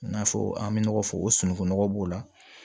I n'a fɔ an bɛ nɔgɔ fɔ o sunugun nɔgɔ b'o la